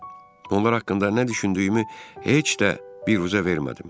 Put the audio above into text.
Onlar haqqında nə düşündüyümü heç də biruzə vermədim.